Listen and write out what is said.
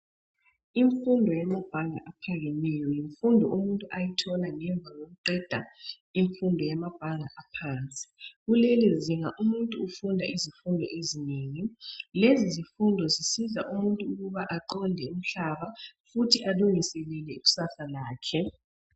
Imfundo yamaphanga aphakemeyo yimfundo umuntu ayithola ngemva kokuqeda imfundo yamabhanga aphansi kulelizinga umuntu ufunda izifundo ezinengi. Lezi zifundo zisiza umuntu ukuba aqonde umhlaba alungiselele ikusasa lakhe.